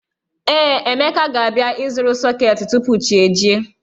Ee, Emeka ga-abịa ịzụrụ sọketi tupu chi ejie